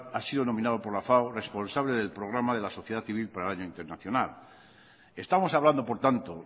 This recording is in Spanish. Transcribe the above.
ha sido nominado por la fao responsable del programa de la sociedad civil para el año internacional estamos hablando por tanto